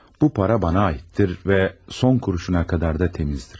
Bu para bana aiddir və son kuruşuna qədər də təmizdir.